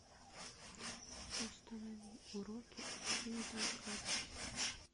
установи уроки от пинги и кроки